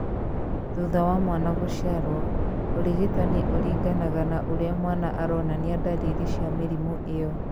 Thutha wa mwana gũciarũo, ũrigitani ũringanaga na ũrĩa mwana aronania ndariri cia mĩrimũ ĩyo.